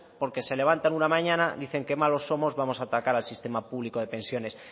porque se levantan una mañana dicen qué malos somos vamos a atacar al sistema público de pensiones